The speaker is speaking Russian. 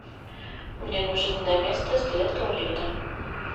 мне нужен доместос для туалета